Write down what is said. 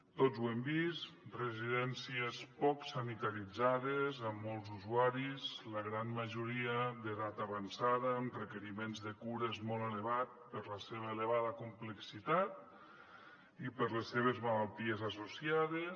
tots ho hem vist residències poc sanitaritzades amb molts usuaris la gran majoria d’edat avançada amb requeriments de cures molt elevats per la seva elevada complexitat i per les seves malalties associades